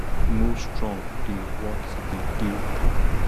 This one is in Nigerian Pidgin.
no strong dey worth di day work